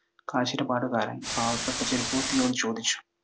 കാശിൻ്റെ. പാവപ്പെട്ട ചെരുപ്പുകുത്തിയോട് ചോദിച്ചു.